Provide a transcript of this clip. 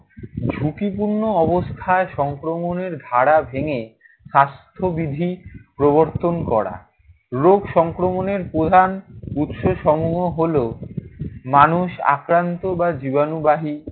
ঝুঁকিপূর্ণ অবস্থায় সংক্রমণের ধারা ভেঙে স্বাস্থ্যবিধি প্রবর্তন করা। রোগ সংক্রমণের প্রধান উৎসসমূহ হলো মানুষ আক্রান্ত বা জীবাণুবাহী